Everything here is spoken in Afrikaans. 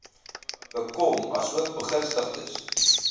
bekom asook begunstigdes